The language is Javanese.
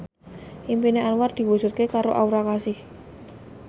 impine Anwar diwujudke karo Aura Kasih